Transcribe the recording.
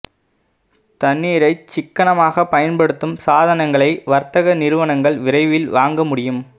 தண்ணீரைச் சிக்கனமாக பயன்படுத்தும் சாதனங்களை வர்த்தக நிறுவனங்கள் விரைவில் வாங்க முடியும்